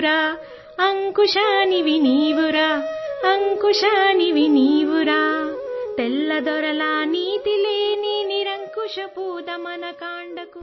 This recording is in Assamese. তেলেগু ধ্বনি ক্লিপ ২৭ ছেকেণ্ড